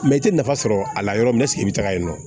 i tɛ nafa sɔrɔ a la yɔrɔ min i bɛ taa yen nɔ